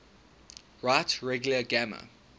right regular grammar